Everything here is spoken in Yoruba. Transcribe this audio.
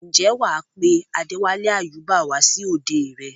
ǹjẹ́ wà á pe Adéwálé Àyúbà wá sí òde rẹ?